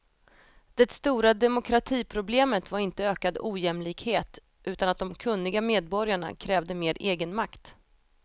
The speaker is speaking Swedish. Det stora demokratiproblemet var inte ökad ojämlikhet utan att de kunniga medborgarna krävde mer egenmakt.